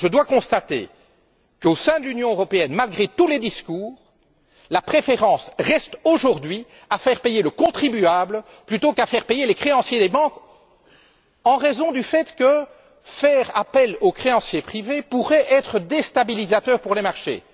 Je dois constater qu'au sein de l'Union européenne, malgré tous les discours, la préférence reste, aujourd'hui, de faire payer le contribuable plutôt que de faire payer les créanciers des banques en raison du fait que faire appel aux créanciers privés pourrait être déstabilisateur pour les marchés.